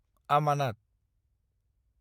आमानात